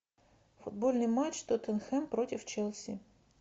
футбольный матч тоттенхэм против челси